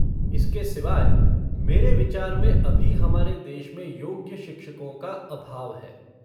इसके सिवाय मेरे विचार में अभी हमारे देश में योग्य शिक्षकों का अभाव है।